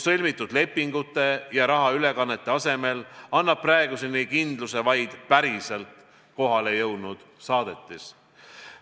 Sõlmitud lepingute ja rahaülekannete asemel annab praeguseni kindluse vaid päriselt kohale jõudnud saadetis.